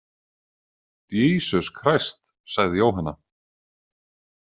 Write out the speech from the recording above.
Djísus Kræst, sagði Jóhanna.